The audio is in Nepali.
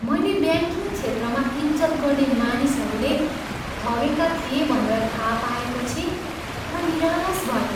मैले ब्याङ्किङ क्षेत्रमा इज्जत गर्ने मानिसहरूले ठगेका थिए भनेर थाह पाएपछि म निराश भएँ।